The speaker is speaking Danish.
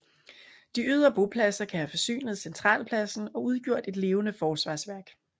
De ydre bopladser kan have forsynet centralpladsen og udgjort et levende forsvarsværk